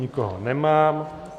Nikoho nemám.